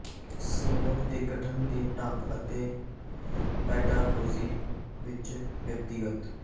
ਸਮੂਹਕ ਦੇ ਗਠਨ ਦੇ ਢੰਗ ਅਤੇ ਪੈਡਾਗੋਜੀ ਵਿੱਚ ਵਿਅਕਤੀਗਤ